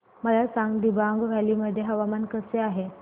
मला सांगा दिबांग व्हॅली मध्ये हवामान कसे आहे